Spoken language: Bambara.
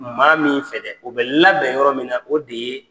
Maa min fɛ dɛ, o bɛ labɛn yɔrɔ min na, o de ye